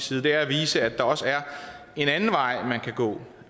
side er at vise at der også er en anden vej man kan gå man